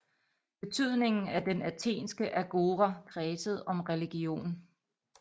Betydningen af den athenske agora kredsede om religion